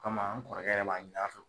kama n kɔrɔkɛ b'a ɲini an fɛ.